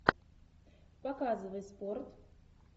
показывай спорт